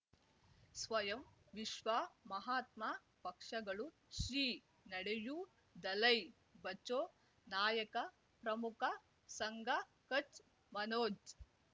ಸ್ವಯಂ ವಿಶ್ವ ಮಹಾತ್ಮ ಪಕ್ಷಗಳು ಶ್ರೀ ನಡೆಯೂ ದಲೈ ಬಚೌ ನಾಯಕ ಪ್ರಮುಖ ಸಂಘ ಕಚ್ ಮನೋಜ್